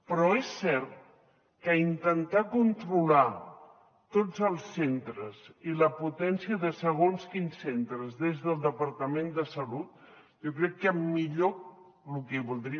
però és cert que intentar controlar tots els centres i la potència de segons quins centres des del departament de salut jo crec que millor lo que voldria